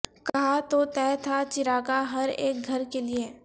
کہاں تو طے تھا چراغاں ہر ایک گھر کے لئے